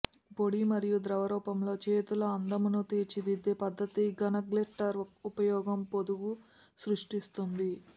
పొడి మరియు ద్రవ రూపంలో చేతుల అందమును తీర్చిదిద్దే పద్ధతి ఘన గ్లిట్టర్ ఉపయోగం పొదుగు సృష్టిస్తోంది